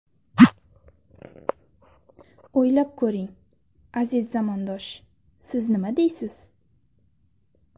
O‘ylab ko‘ring, aziz zamondosh... Siz nima deysiz?